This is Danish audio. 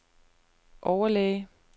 overlæge